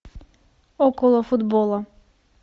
около футбола